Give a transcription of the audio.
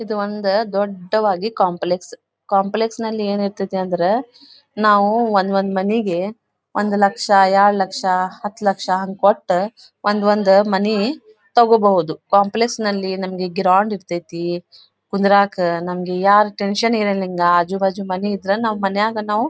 ಇದು ಒಂದು ದೊಡ್ಡವಾಗಿ ಕಾಂಪ್ಲೆಕ್ಸ್ ಕಾಂಪ್ಲೆಕ್ಸ್ ನಲ್ಲಿ ಏನಿರತೈತೆ ಅಂದ್ರೆ ನಾವು ಒಂದು ಒಂದು ಮನಿಗೆ ಒಂದು ಲಕ್ಷ ಎರಡ್ ಲಕ್ಷ ಹತ್ತು ಲಕ್ಷ ಕೊಟ್ಟು ಒಂದೊಂದು ಮನಿ ತಗೋಬೋದು ಕಾಂಪ್ಲೆಕ್ಸ್ ನಲ್ಲಿ ನಮಗೆ ಗ್ರೌಂಡ್ ಇರತೈತಿ ಕುಂದ್ರಾಕೆ ನಮಗ್ ಯಾರ ಟೆನ್ಶನ್ ಇರಂಗಿಲ್ಲ ಆಜೂ ಬಾಜು ಮನೆ ಇದ್ರೆ ಮನೆಯಾಗೆ ನಾವು --.